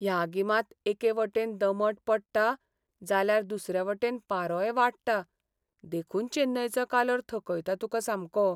ह्या गिमांत एके वाटेन दमट पडटा जाल्यार दुसरे वटेन पारोय वाडटा, देखून चेन्नयचो कालोर थकयता तुका सामको.